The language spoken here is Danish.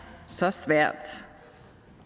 så svært